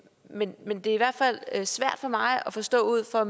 men men det er i hvert fald svært for mig at forstå ud fra